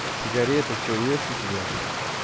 сигареты всё есть у тебя